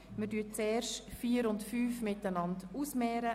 6.e Spitex Reduktion der Versorgungsbeiträge an Spitex (Massnahme 44.3.7)